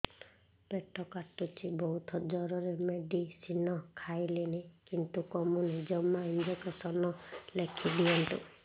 ପେଟ କାଟୁଛି ବହୁତ ଜୋରରେ ମେଡିସିନ ଖାଇଲିଣି କିନ୍ତୁ କମୁନି ଜମା ଇଂଜେକସନ ଲେଖିଦିଅନ୍ତୁ